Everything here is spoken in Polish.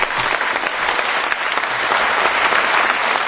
Dziękuję Panie Premierze za wygłoszone